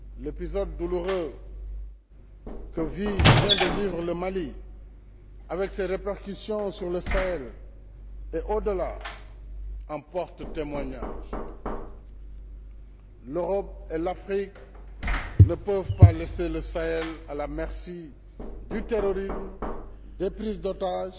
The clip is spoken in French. L'épisode douloureux que vient de vivre le Mali, avec ses répercussions sur le Sahel et au delà, en porte témoignage. L'Europe et l'Afrique ne peuvent pas laisser le Sahel à la merci du terrorisme, des prises d'otages,